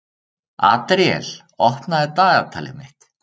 Adríel, opnaðu dagatalið mitt.